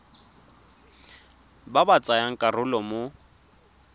ba ba tsayang karolo mo